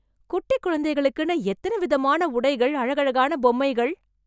குட்டிக் குழந்தைங்களுக்குன்னு எத்தன விதமான உடைகள், அழகழகான பொம்மைகள்...